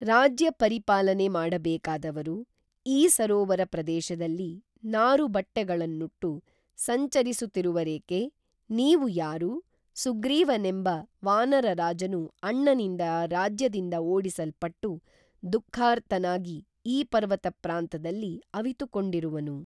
ರಾಜ್ಯಪರಿಪಾಲನೆ ಮಾಡಬೇಕಾದವರು ಈ ಸರೋವರ ಪ್ರದೇಶದಲ್ಲಿ ನಾರುಬಟ್ಟೆಗಳನ್ನುಟ್ಟು ಸಂಚರಿಸುತಿವರೇಕೆ ನೀವು ಯಾರು ಸುಗ್ರೀವನೆಂಬ ವಾನರ ರಾಜನು ಅಣ್ಣನಿಂದ ರಾಜ್ಯದಿಂದ ಓಡಿಸಲ್ಪಟ್ಟು ದುಃಖಾರ್ತನಾಗಿ ಈ ಪರ್ವತ ಪ್ರಾಂತದಲ್ಲಿ ಅವಿತುಕೊಂಡಿರುವನು